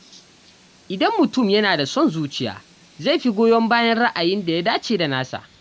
Idan mutum yana da son zuciya, zai fi goyon bayan ra’ayin da ya dace da nasa.